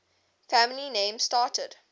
family names started